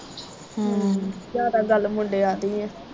ਹੂੰ ਜਿਆਦਾ ਗੱਲ ਮੁੰਡਿਆਂ ਦੀ ਇਹ